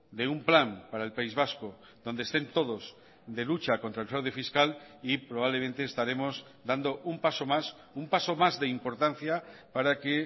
de un plan para el país vasco donde estén todos de lucha contra el fraude fiscal y probablemente estaremos dando un paso más un paso más de importancia para que